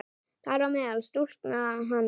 Þar á meðal stúlkan hans.